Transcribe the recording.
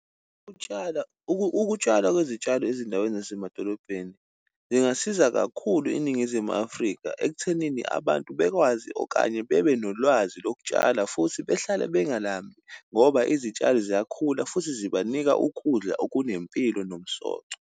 Ukutshala, ukutshalwa kwezitshalo ezindaweni zasemadolobheni, zingasiza kakhulu iNingizimu Afrika ekuthenini abantu bekwazi okanye bebe nolwazi lokutshala, futhi behlale bengalambi, ngoba izitshalo ziyakhula futhi zibanika ukudla okunempilo nomsoco.